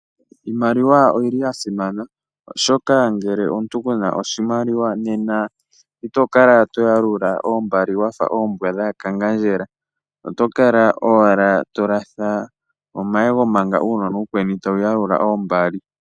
Iimaliwa oyili yasimana, oshoka ngele omuntu kuna oshimaliwa nena itokala toyalula oombali wafa oombwa dhaakangandjela, otokala owala tolatha omayego manga uunona uukweni tawuyalula oombali.